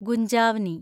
ഗുഞ്ജാവ്നി